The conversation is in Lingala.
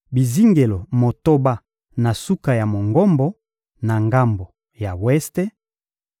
bizingelo motoba na suka ya Mongombo, na ngambo ya weste,